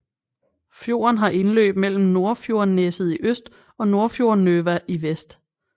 Fjorden har indløb mellem Nordfjordneset i øst og Nordfjordnøva i vest